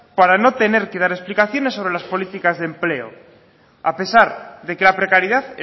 para no tener que dar explicaciones sobre las políticas de empleo a pesar de que la precariedad